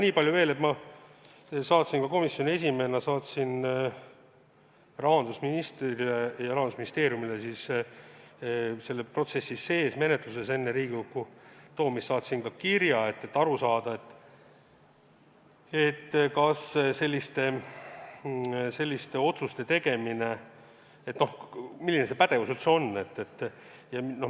Nii palju veel, et ma saatsin komisjoni esimehena rahandusministrile ja Rahandusministeeriumile selle protsessi sees enne eelnõu menetlemist Riigikogus kirja, et aru saada, milline üldse on meie pädevus selliste otsuste tegemisel.